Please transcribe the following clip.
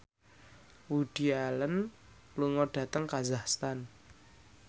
Woody Allen lunga dhateng kazakhstan